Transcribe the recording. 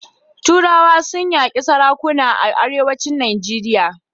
Turawa sun yaƙi sarakuna a Arewacin Najeriya.